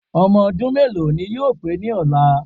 Ọmọ ọdún méèló ni yóò pé ní ọ̀la